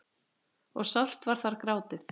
og sárt var þar grátið.